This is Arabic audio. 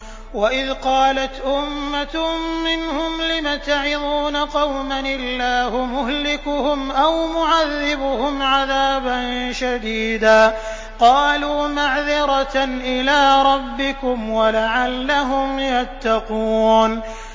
وَإِذْ قَالَتْ أُمَّةٌ مِّنْهُمْ لِمَ تَعِظُونَ قَوْمًا ۙ اللَّهُ مُهْلِكُهُمْ أَوْ مُعَذِّبُهُمْ عَذَابًا شَدِيدًا ۖ قَالُوا مَعْذِرَةً إِلَىٰ رَبِّكُمْ وَلَعَلَّهُمْ يَتَّقُونَ